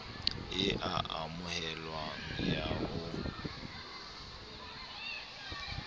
e a amoheleha ya ho